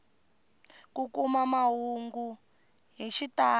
ku kuma mahungu hi xitalo